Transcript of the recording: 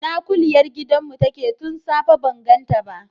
Ina kuliyar gidan mu take tun safe ban ganta ba?